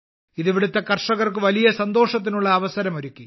ഇത് ഇവിടുത്തെ കർഷകർക്ക് വലിയ സന്തോഷത്തിനുള്ള അവസരം ഒരുക്കി